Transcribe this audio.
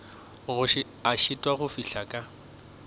a šitwago go fihla ka